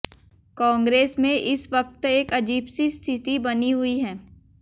कांग्रेस में इस वक्त एक अजीब सी स्थिति बनी हुई है